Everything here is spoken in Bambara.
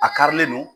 A karilen don